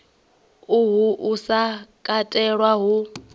uhu u sa katelwa hu